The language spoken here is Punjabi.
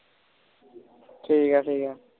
ਠੀਕ ਆ ਠੀਕ ਆ